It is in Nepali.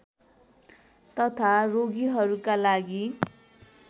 तथा रोगीहरूका लागि